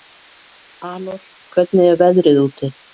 Anor, hvernig er veðrið úti?